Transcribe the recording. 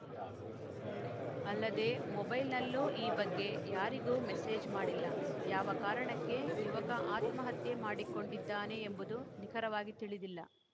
ಅಲ್ಲದೆ ಮೊಬೈಲ್‌ನಲ್ಲೂ ಈ ಬಗ್ಗೆ ಯಾರಿಗೂ ಮೆಸ್ಸೇಜ್‌ ಮಾಡಿಲ್ಲ ಯಾವ ಕಾರಣಕ್ಕೆ ಯುವಕ ಆತ್ಮಹತ್ಯೆ ಮಾಡಿಕೊಂಡಿದ್ದಾನೆ ಎಂಬುದು ನಿಖರವಾಗಿ ತಿಳಿದಿಲ್ಲ